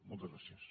moltes gràcies